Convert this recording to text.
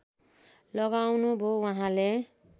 लगाउनु भो वहाँले